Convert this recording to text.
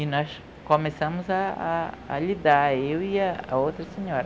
E nós começamos a a a lidar, eu e a outra senhora.